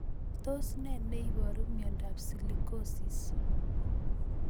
Tos ne neiparu miondop Silicosis